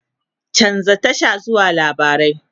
chanza Tasha zuwa labarai!